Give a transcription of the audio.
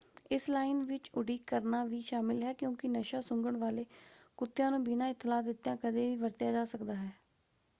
ਇਸ ਲਾਈਨ ਵਿੱਚ ਉਡੀਕ ਕਰਨਾ ਵੀ ਸ਼ਾਮਿਲ ਹੈ ਕਿਉਂਕਿ ਨਸ਼ਾ-ਸੁੰਘਣ ਵਾਲੇ ਕੁੱਤਿਆਂ ਨੂੰ ਬਿਨਾਂ ਇਤਲਾਹ ਦਿੱਤਿਆਂ ਕਦੇ ਵੀ ਵਰਤਿਆ ਜਾ ਸਕਦਾ ਹੈ।